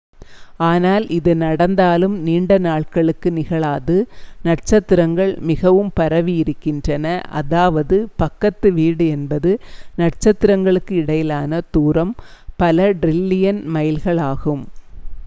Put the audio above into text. ஆனால் இது நடந்தாலும் நீண்ட நாட்களுக்கு நிகழாது நட்சத்திரங்கள் மிகவும் பரவி இருக்கின்றன அதாவது பக்கத்து வீடு என்பது நட்சத்திரங்களுக்கு இடையிலான தூரம் பல டிரில்லியன் மைல்களாகும்